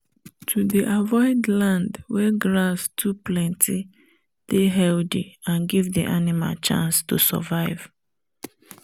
to dey avoid land wen grass too plenty dey heathy and give the animal chance to survive